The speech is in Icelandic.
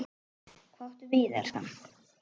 Hvað áttu við, elskan?